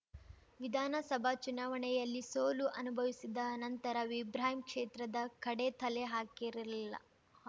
ವಿಧಾನಸಭಾ ಚುನಾವಣೆಯಲ್ಲಿ ಸೋಲು ಅನುಭವಿಸಿದ ನಂತರ ಇಬ್ರಾಹಿಂ ಕ್ಷೇತ್ರದ ಕಡೆ ತಲೆ ಹಾಕಿರಲಿಲ್ಲ